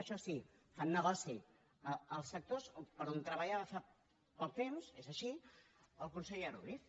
això sí fan negoci els sectors per als quals treballava fa poc temps és així el conseller ruiz